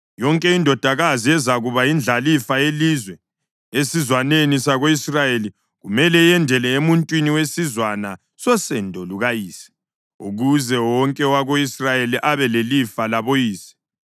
Yonke indodakazi ezakuba yindlalifa yelizwe esizwaneni sako-Israyeli kumele yendele emuntwini wesizwana sosendo lukayise, ukuze wonke owako-Israyeli abe lelifa laboyise.